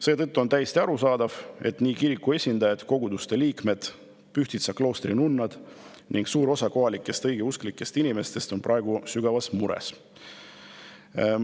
Seetõttu on täiesti arusaadav, et nii kiriku esindajad, koguduste liikmed, Pühtitsa kloostri nunnad kui ka suur osa kohalikest õigeusklikest inimestest on praegu sügavas mures.